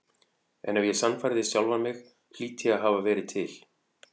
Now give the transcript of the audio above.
En ef ég sannfærði sjálfan mig hlýt ég að hafa verið til.